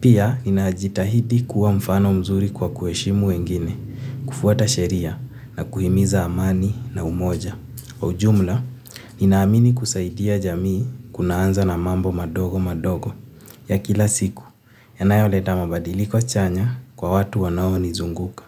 Pia, ninajitahidi kuwa mfano mzuri kwa kuheshimu wengine, kufuata sheria na kuhimiza amani na umoja. Kwa ujumla, ninaamini kusaidia jamii kunaanza na mambo madogo madogo ya kila siku. Yanayoleta mabadiliko chanya kwa watu wanaonizunguka.